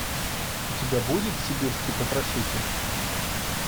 у тебя будет сибирский потрошитель